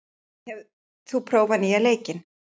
Leon, hefur þú prófað nýja leikinn?